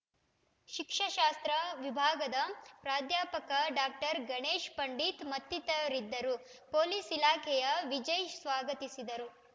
ಶಿಕ್ಷಶಾಸ್ತ್ರ ವಿಭಾಗದ ಪ್ರಾಧ್ಯಾಪಕ ಡಾಕ್ಟರ್ ಗಣೇಶ್‌ ಪಂಡಿತ್‌ ಮತ್ತಿತರರಿದ್ದರು ಪೊಲೀಸ್‌ ಇಲಾಖೆಯ ವಿಜಯ್‌ ಸ್ವಾಗತಿಸಿದರು